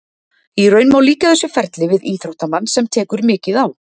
Í raun má líkja þessu ferli við íþróttamann sem tekur mikið á.